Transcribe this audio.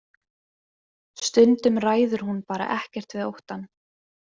Stundum ræður hún bara ekkert við óttann.